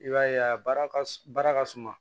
I b'a ye a baara ka baara ka suma